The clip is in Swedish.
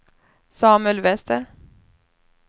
Samuel Wester